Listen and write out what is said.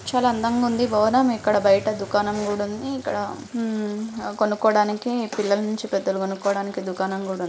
చాల అందంగుంది భవనం ఇక్కడ బయట దుకానం కుడుంది ఇక్కడ ఉమ్ కొనుక్కోడానికి పిల్లల్ నుంచి పెద్దల్ కొనుక్కొడానికి దుకానం కూడ--